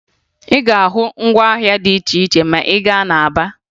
Ị ga-ahụ ngwaahịa dị iche iche ma ị gaa na Aba